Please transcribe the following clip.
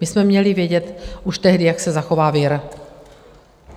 My jsme měli vědět už tehdy, jak se zachová vir!